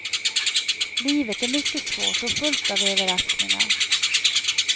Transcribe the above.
Livet är mycket svårt och fullt av överraskningar.